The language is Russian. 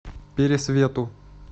пересвету